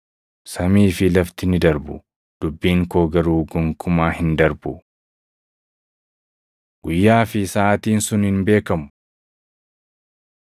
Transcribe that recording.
Samii fi lafti ni darbu; dubbiin koo garuu gonkumaa hin darbu. Guyyaa fi Saʼaatiin Sun Hin beekamu